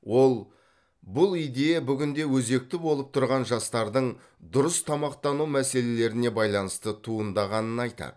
ол бұл идея бүгінде өзекті болып тұрған жастардың дұрыс тамақтану мәселелеріне байланысты туындағанын айтады